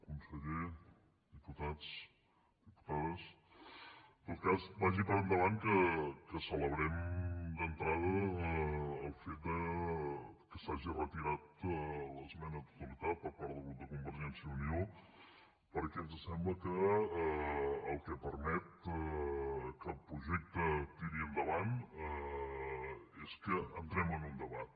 conseller diputats diputades en tot cas vagi per davant que celebrem d’entrada el fet que s’hi hagi retirat l’esmena a la totalitat per part del grup de convergència i unió perquè ens sembla que el que permet que el projecte tiri endavant és que entrem en un debat